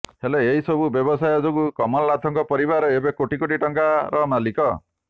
ହେଲେ ଏହି ସବୁ ବ୍ୟବସାୟ ଯୋଗୁ କମଲନାଥଙ୍କ ପରିବାର ଏବେ କୋଟି କୋଟି ଟଙ୍କାର ମାଲିକ